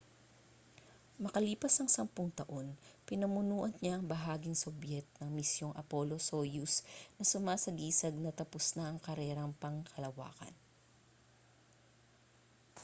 makalipas ang sampung taon pinamunuan niya ang bahaging sobyet ng misyong apollo-soyuz na sumasagisag na tapos na ang karerang pangkalawakan